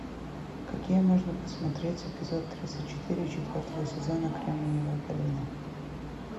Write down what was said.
какие можно посмотреть эпизод тридцать четыре четвертого сезона кремниевая долина